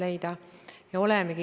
Auväärt minister!